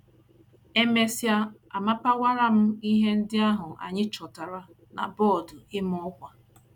E mesịa, amapawara m ihe ndị ahụ anyị chọtara na bọọdụ ịma ọkwa. ”